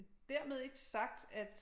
Dermed ikke sagt at